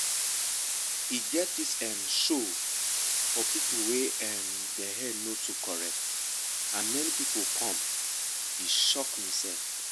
e get this emm show for people wey emm dem head no too correct and many people come e shock me sef